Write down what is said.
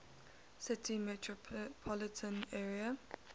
city metropolitan area